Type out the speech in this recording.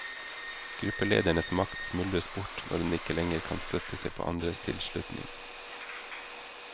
Gruppeledernes makt smuldres bort når den ikke lenger kan støtte seg på andres tilslutning.